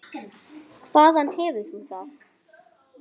Hvaðan hefur þú það?